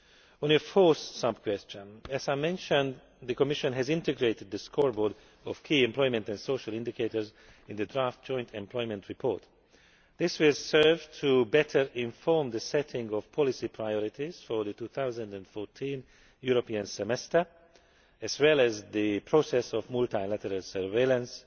On your fourth sub question as I mentioned, the Commission has integrated the scoreboard of key employment and social indicators in the draft Joint Employment Report. This will serve better to inform the setting of policy priorities for the 2014 European Semester, as well as the process of multilateral surveillance